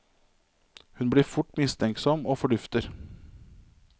Hun blir fort mistenksom og fordufter.